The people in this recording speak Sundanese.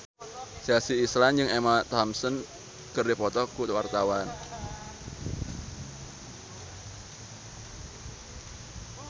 Chelsea Islan jeung Emma Thompson keur dipoto ku wartawan